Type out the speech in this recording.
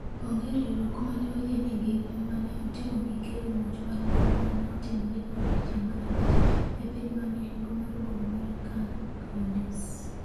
Onge riwruok mane oyie ni gin ema ne otimo gikelo muoch mar mbom ma ne otimore e odiechieng' mar abich e piny ma milambo mar boma mar Khana Younis.